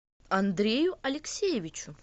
андрею алексеевичу